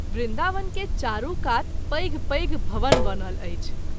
वृन्दावन के चारू कात पैघ पैघ भवन बनल अछि।